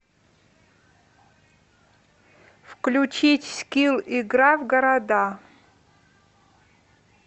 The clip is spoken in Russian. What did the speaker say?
включить скилл игра в города